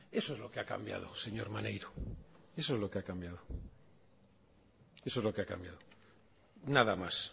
eso es lo que ha cambiado señor maneiro eso es lo que ha cambiado eso es lo que ha cambiado nada más